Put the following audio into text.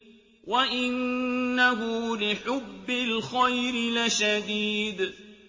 وَإِنَّهُ لِحُبِّ الْخَيْرِ لَشَدِيدٌ